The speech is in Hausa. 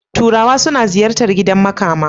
Turawa suna ziyarta gidan makama.